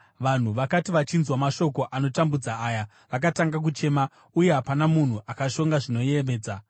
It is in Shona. Vanhu vakati vachinzwa mashoko anotambudza aya, vakatanga kuchema uye hapana munhu akashonga zvinoyevedza.